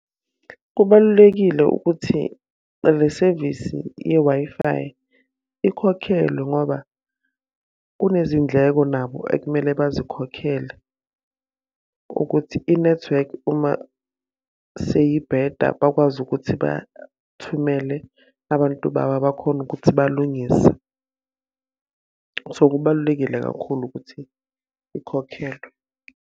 Kubalulekile ukuthi le sevisi ye-Wi-Fi, ikhokhelwe ngoba kunezindleko nabo ekumele bazikhokhele ukuthi inethiwekhi uma seyibheda bakwazi ukuthi bathumele abantu babo bakhone ukuthi balungise. So, kubalulekile kakhulu ukuthi ikhokhelwe.